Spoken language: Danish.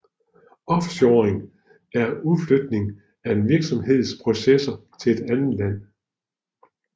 Offshoring er udflytning af en virksomheds processer til et andet land